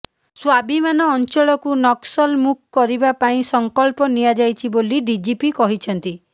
ସ୍ୱାଭିମାନ ଅଞ୍ଚଳକୁ ନକ୍ସଲମୁକ୍ କରିବା ପାଇଁ ସଙ୍କଳ୍ପ ନିଆଯାଇଛି ବୋଲି ଡିଜିପି କହିଛନ୍ତି